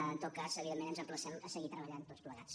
en tot cas evidentment ens emplacem a seguir treballant tots plegats